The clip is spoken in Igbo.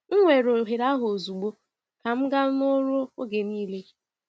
M weere ohere ahụ ozugbo ka m gaa n’ọrụ oge niile.